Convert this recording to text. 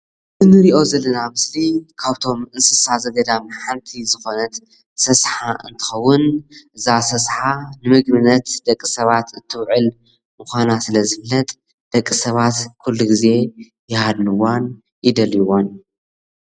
እንሪኦ ዘለና ምስሊ ካፍቶም እንስሳ ዘገዳም ሓንቲ ዝኾነት ሰስሓ እንትትኸውን እዛ ሰሰሓ ንምግብነት ደቂ ሰባት እትውዕል ምዃና ስለዝፍለጥ ደቂ ሰባት ኹሉ ግዜ ይሃድንዋ ይደልይዋን።